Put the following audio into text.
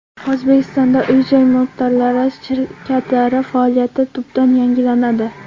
O‘zbekistonda uy-joy mulkdorlari shirkatlari faoliyati tubdan yangilanadi.